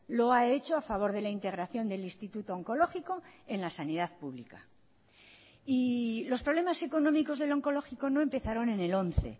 lo ha hecho a favor de la integración del instituto oncológico en la sanidad pública y los problemas económicos del oncológico no empezaron en el once